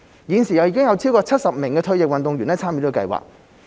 現時有超過70名退役運動員參與計劃。